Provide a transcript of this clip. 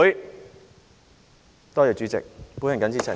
多謝代理主席，我謹此陳辭。